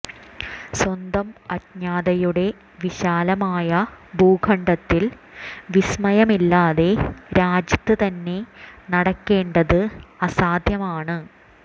സ്വന്തം അജ്ഞതയുടെ വിശാലമായ ഭൂഖണ്ഡത്തിൽ വിസ്മയമില്ലാതെ രാജ്യത്ത് തന്നെ നടക്കേണ്ടത് അസാധ്യമാണ്